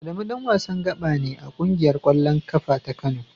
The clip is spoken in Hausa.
Adamu dan wasan gaba ne a kungiyar kwallon kafa ta Kano.